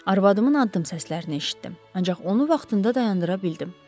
Arvadımın addım səslərini eşitdim, ancaq onu vaxtında dayandıra bildim.